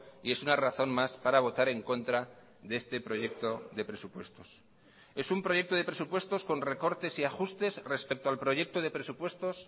y es una razón más para votar en contra de este proyecto de presupuestos es un proyecto de presupuestos con recortes y ajustes respecto al proyecto de presupuestos